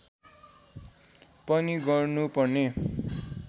पनि गर्नु पर्ने